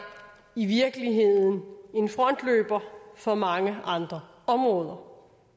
i virkeligheden en frontløber for mange andre områder